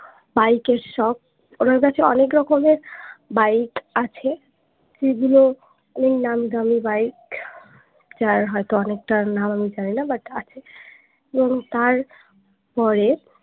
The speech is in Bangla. বাইক এর সখ ওনার কাছে অনেক রকমের বাইক আছে সেগুলো অনেক নামিদামী বাইক যার হয়তো অনেকটার নাম জানিনা but আছে এবং তারপরে